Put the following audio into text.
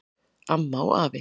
Amma og afi